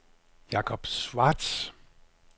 Jacob Schwartz